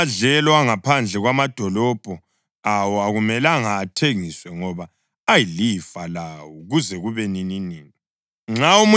Kodwa amadlelo angaphandle kwamadolobho awo akumelanga athengiswe ngoba ayilifa lawo kuze kube nininini.